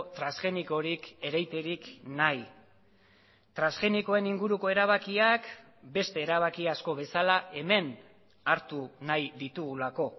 transgenikorik ereiterik nahi transgenikoen inguruko erabakiak beste erabaki asko bezala hemen hartu nahi ditugulako